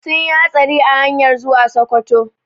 Sunyi hatsari a hanyar zuwa Sokoto